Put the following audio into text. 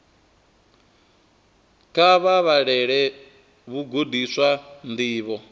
kha vha vhalele vhagudiswa ndivho